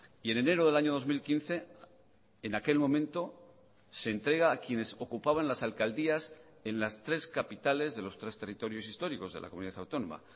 y en enero del año dos mil quince en aquel momento se entrega a quienes ocupaban las alcaldías en las tres capitales de los tres territorios históricos de la comunidad autónoma